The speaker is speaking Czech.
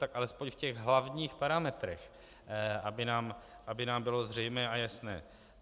Tak alespoň v těch hlavních parametrech, aby nám bylo zřejmé a jasné.